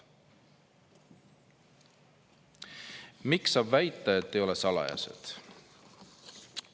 Miks saab väita, et ei ole salajased?